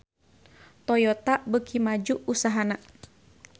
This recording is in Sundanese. Toyota beuki maju usahana